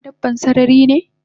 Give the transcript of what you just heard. Gaggafa dabban sararine?